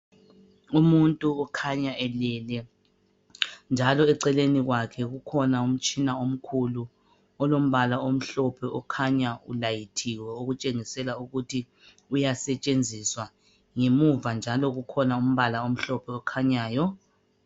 Umuntu ukhanya elele njalo eceleni kwakhe kukhona umtshina omkhulu olombala omhlophe okhanya ulayithiwe okutshengisela ukuthi uyasetshenziswa ngemuva njalo kukhona umbala omhlophe okhanyayo